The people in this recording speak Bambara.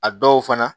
A dɔw fana